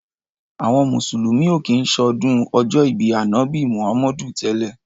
Àwọn mùsùlùmí ò kí ń ṣọdún ọjọ́ ìbí Ànábì Muhammadu tẹ́lẹ̀.